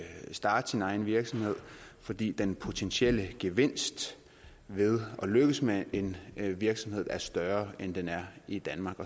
starte sin egen virksomhed fordi den potentielle gevinst ved at lykkes med en virksomhed er større end den er i danmark